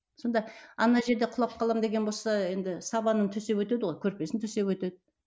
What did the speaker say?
сонда ана жерде құлап қаламын деген болса енді сабанын төсеп өтеді ғой көрпесін төсеп өтеді